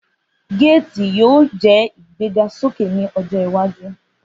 Gates yoo wa ni igbegasoke ni ojo iwaju.